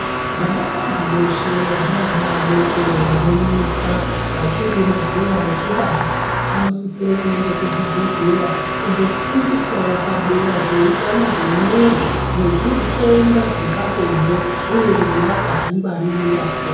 Vanakadzi veshe vane vana vadoko vano mwisa vachiri mazera ekubara vano sisire kuende ku chibhedhleya kuno fundiswawo padera peutano hwe mwiri ne zvitenda zvepa bonde uye kuti vangazvi ngwaririra sei.